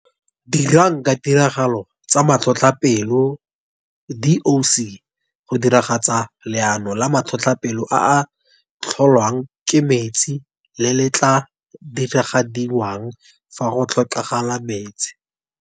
Dirang ka tiragalo tsa Matlhotlhapelo, DOC, go diragatsa Leano la Matlhotlhapelo a a tlholwang ke Metsi le le tla diragadiwang fa go ka tlhokagala Metsi.